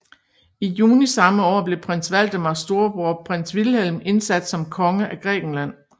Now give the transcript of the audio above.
I juni samme år blev Prins Valdemars storebror Prins Vilhelm indsat som konge af Grækenland